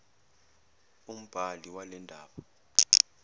umbhali wale ndaba